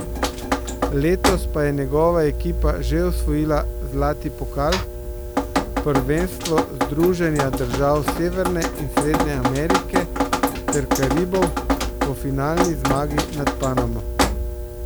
Letos pa je njegova ekipa že osvojila zlati pokal, prvenstvo združenja držav Severne in Srednje Amerike ter Karibov po finalni zmagi nad Panamo.